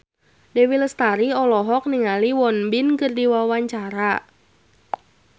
Dewi Lestari olohok ningali Won Bin keur diwawancara